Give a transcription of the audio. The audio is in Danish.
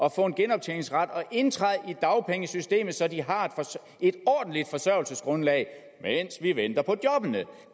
at få en genoptjeningsret og indtræde i dagpengesystemet så de har et ordentligt forsørgelsesgrundlag mens vi venter på jobbene